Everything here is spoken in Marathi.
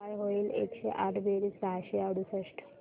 काय होईल एकशे आठ बेरीज सहाशे अडुसष्ट